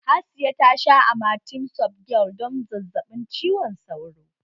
Hasiya tasha amatem softgel don zazzaɓin cizon sauro